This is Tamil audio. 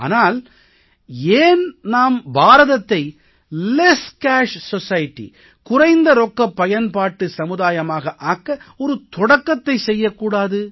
ஆனால் ஏன் நாம் பாரதத்தை குறைந்த ரொக்கப் பயன்பாட்டு சமுதாயமாக ஆக்க ஒரு தொடக்கத்தைச் செய்யக் கூடாது